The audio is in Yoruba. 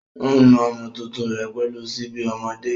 Ó ń nu ọmọ tuntun rẹ̀ pẹ̀lú síbi ọmọdé.